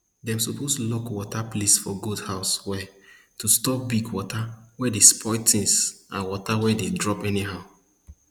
dem suppose lock water place for goat house well to stop big water wey dey spoil tins and water wey dey drop anyhow